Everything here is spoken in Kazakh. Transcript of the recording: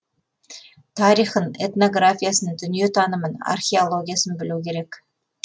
тарихын этнографиясын дүние танымын археологиясын білу керек